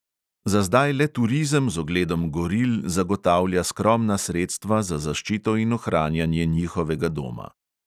Za zdaj le turizem z ogledom goril zagotavlja skromna sredstva za zaščito in ohranjanje njihovega doma.